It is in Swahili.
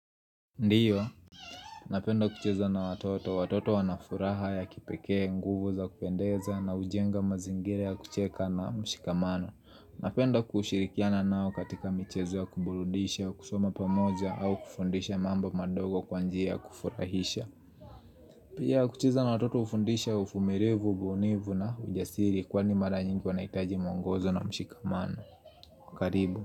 Ndio, napenda kucheza na watoto, watoto wanafuraha ya kipekee nguvu za kupendeza na hujenga mazingira ya kucheka na mshikamano. Napenda kushirikiana nao katika michezo ya kuburudisha, kusoma pamoja au kufundisha mambo madogo kwa njia ya kufurahisha. Pia kucheza na watoto hufundisha uvumilivu, ubunifu na ujasiri kwani mara nyingi wanahitaji muongozo na mshikamano. Karibu.